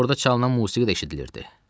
Artıq orda çalınan musiqi də eşidilirdi.